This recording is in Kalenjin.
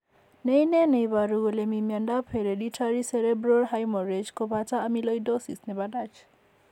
Ne ine ne iporu kole mi miondap hereditary cerebral hemorrhage kopoto amyloidosis nepo Dutch ?